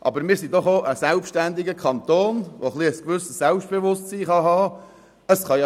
Aber wir sind doch auch ein selbstständiger Kanton, der ein gewisses Selbstbewusstsein haben darf.